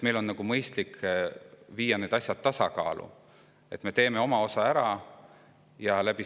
Meil on mõistlik need asjad tasakaalu viia ja oma osa ära teha.